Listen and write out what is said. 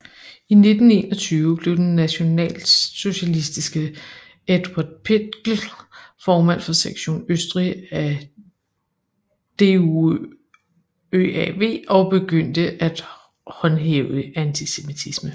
I 1921 blev den nationalsocialistiske Eduard Pichl formand for Sektion Østrig af DuÖAV og begyndte at håndhæve antisemitisme